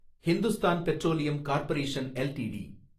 Hindustan petroleum corporation LTD